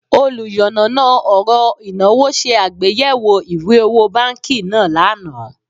Oluyanana oro inawo se agbeyewo iwe owo banki naa lana